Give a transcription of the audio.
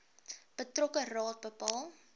betrokke raad bepaal